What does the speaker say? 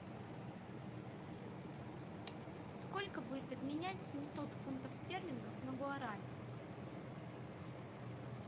сколько будет обменять семьсот фунтов стерлингов на гуарани